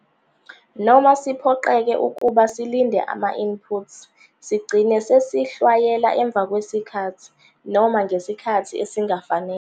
Noma siphoqeke ukuba silinde ama-inputs - Sigcine sesihlwanyela emva kwesikhathi, noma ngesikhathi esingafanele.